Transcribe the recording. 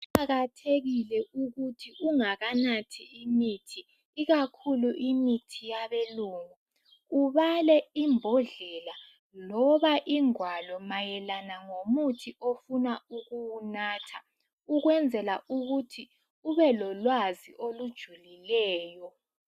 Kuqakathekile ukuthi ungakanathi imithi, ikakhulu imithi yabelungu ubale imbodlela loba ingwalo mayelana ngomuthi ofuna ukuwunatha. Ukwenzela ukuthi ube lolwazi olujulileyo.